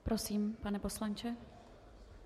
Prosím, pane poslanče.